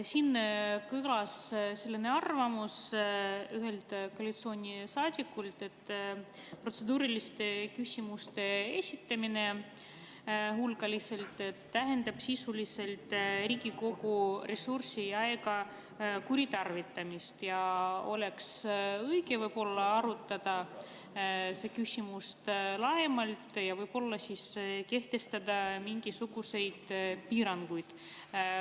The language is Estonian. Siin kõlas selline arvamus ühelt koalitsioonisaadikult, et hulgaline protseduuriliste küsimuste esitamine tähendab sisuliselt Riigikogu ressursi ja aja kuritarvitamist ja võib-olla oleks õige arutada seda küsimust laiemalt ja võib-olla siis kehtestada mingisuguseid piiranguid.